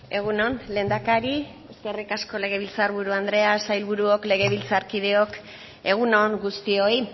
egun on lehendakari eskerrik asko legebiltzar buru andrea sailburuok legebiltzarkideok egunon guztioi